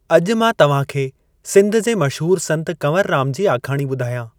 अॼु मां तव्हां खे सिंध जे मशहूरु संत कंवरराम जी आखाणी ॿुधायां।